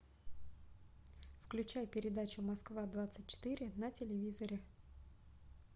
включай передачу москва двадцать четыре на телевизоре